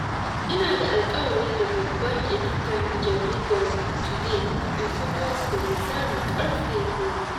Ina da alƙawari da babban editan Jaridar Today in Focus da misalin ƙarfe goma.